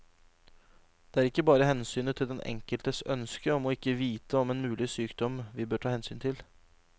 Det er ikke bare hensynet til den enkeltes ønske om ikke å vite om en mulig sykdom vi bør ta hensyn til.